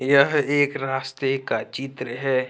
यह एक रास्ते का चित्र है।